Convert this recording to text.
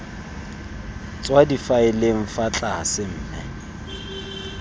tswa difaeleng fa tlase mme